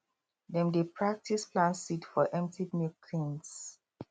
dem dey practise plant seed for empty milk tins